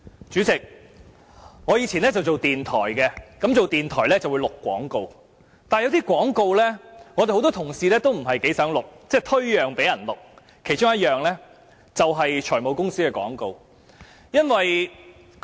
主席，我以往在電台任職，而在電台任職會錄製廣告，但有些廣告，我和很多同事也不太想錄製，會推讓給別人錄製，其中一類便是財務公司的廣告。